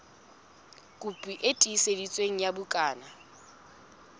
la boemo bo hodimo la